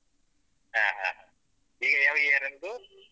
ಹ ಹ ಹ ಈಗ ಯಾವ year ನಿಂದು?